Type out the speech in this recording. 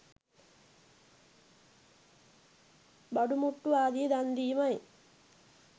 බඩු මුට්ටු ආදිය දන්දීමයි.